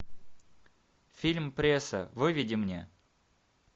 фильм пресса выведи мне